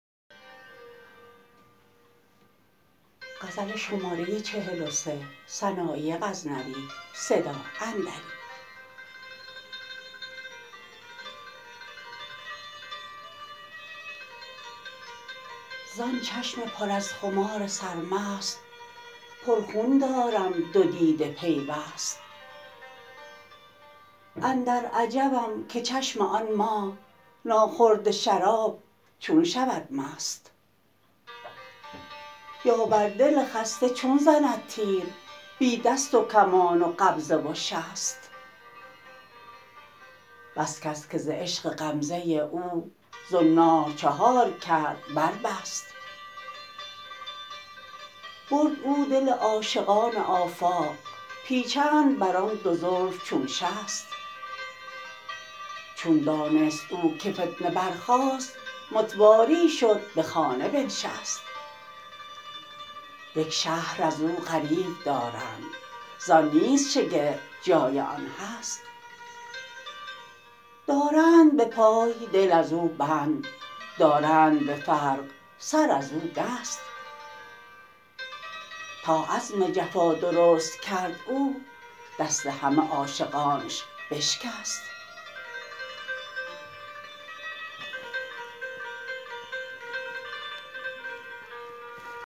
زان چشم پر از خمار سرمست پر خون دارم دو دیده پیوست اندر عجبم که چشم آن ماه ناخورده شراب چون شود مست یا بر دل خسته چون زند تیر بی دست و کمان و قبضه و شست بس کس که ز عشق غمزه او زنار چهار کرد بر بست برد او دل عاشقان آفاق پیچند بر آن دو زلف چون شست چون دانست او که فتنه بر خاست متواری شد به خانه بنشست یک شهر ازو غریو دارند زان نیست شگفت جای آن هست دارند به پای دل ازو بند دارند به فرق سر ازو دست تا عزم جفا درست کرد او دست همه عاشقانش بشکست